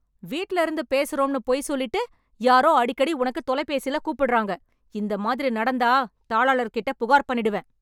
வீட்ல இருந்து பேசுறோம்னு பொய் சொல்லிட்டு யாரோ அடிக்கடி உனக்கு தொலைபேசில கூப்பிட்றாங்க, இந்த மாதிரி நடந்தா தாளாளர்ட்ட புகார்பண்ணிடுவேன்.